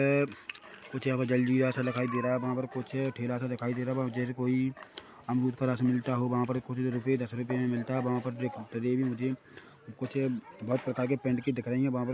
अ कुछ व जलजीरा सा दिखाई दे रहा है वहाँ पर कुछ ठेला - सा दिखाई दे रहा है बाम जर कोई अंगूर का रस मिलता हो वहाँ पर कुछ रुपये दस रुपये में मिलता है वहाँ पर मुझे कुछ बहोत प्रकार के पेंडके दिख रही है वहाँ पर --